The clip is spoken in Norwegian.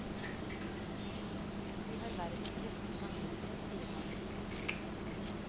Vi har verdens beste samvittighet, sier han.